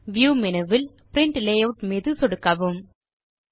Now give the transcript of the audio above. view menu வில் print layout தேர்வு மீது சொடுக்கலாம்